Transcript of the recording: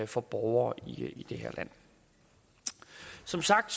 for borgere i det her land som sagt